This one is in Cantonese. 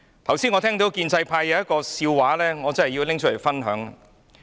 剛才我聽到建制派有一個笑話，我真的要說出來跟大家分享。